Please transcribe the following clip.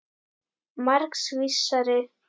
Margs vísari.